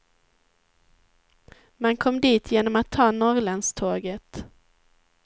Man kom dit genom att ta norrlandståget.